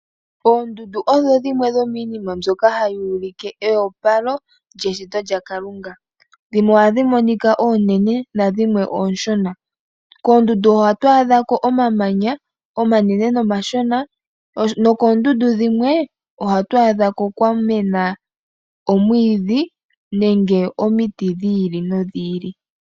Oondundu odho dhimwe dhomiinshitwe mbyoka hayi ulike eopalo lyeshito lyaKalunga. Dhimwe ohadhi monika oonene nadhimwe oonshona. Koondundu ohaku adhika omamanya omanene nomashona ,nokoondundu dhimwe ohaku mene omwiidhi nomiti dhi ili nodhi ili.